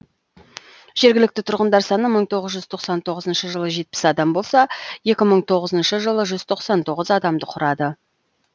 жергілікті тұрғындар саны мың тоғыз жүз тоқсан тоғызыншы жылы жетпіс адам болса екі мың тоғызыншы жылы жүз тоқсан тоғыз адамды құрады